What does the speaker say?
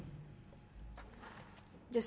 det